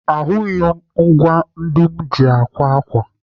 Ahụghị m ngwaa ndị m ji akwa ákwà.